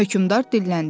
Hökmdar dilləndi.